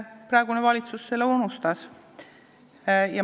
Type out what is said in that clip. Praegune valitsus on selle unustanud.